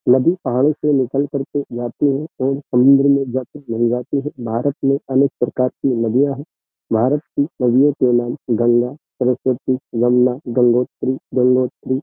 नदी पहाड़ों से निकल कर के जाती है और समुंद्र में जाकर मिल जाती है भारत में अनेक प्रकार की नदियां हैं भारत की नदियों के नाम गंगा सरस्वती जमुना गंगोत्री गंगोत्री --